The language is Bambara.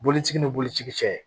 Boloci ni bolici cɛ